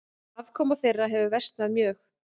Afkoma þeirra hefur versnað mjög.